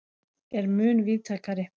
er mun víðtækari.